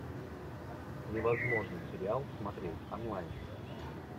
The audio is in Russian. невозможное сериал смотреть онлайн